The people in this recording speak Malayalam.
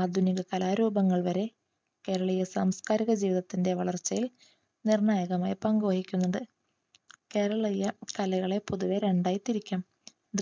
ആധുനിക കലാ രൂപങ്ങൾ വരെ കേരളീയ സാംസ്‌കാരിക ജീവിതത്തിന്റെ വളർച്ചയിൽ നിർണ്ണായകമായ പങ്കു വഹിക്കുന്നുണ്ട്. കേരളീയ കലകളെ പൊതുവെ രണ്ടായി തിരിക്കാം.